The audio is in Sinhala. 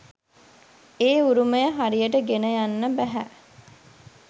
ඒ උරුමය හරියට ගෙන යන්න බැහැ.